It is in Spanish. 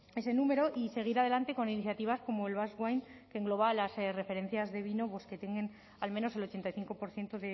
ese número y seguir adelante con iniciativas como el basque wine que engloba las referencias de vino que tienen al menos el ochenta y cinco por ciento